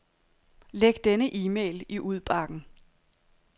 Læg denne e-mail i udbakken.